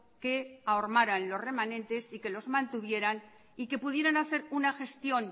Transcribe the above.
que ahormaran los remanentes y que los mantuvieran y que pudieran hacer una gestión